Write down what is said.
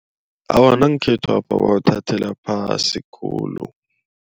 Awa nangekhethwapha bawuthathela phasi khulu.